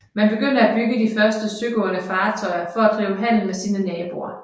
Man begynder at bygge de første søgående fartøjer for at drive handel med sine naboer